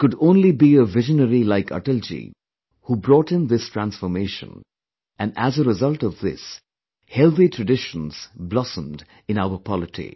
It could only be a visionary like Atalji who brought in this transformation and as a result of this, healthy traditions blossomed in our polity